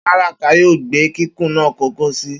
Baraka yoo gbe kikun naa kọkọ si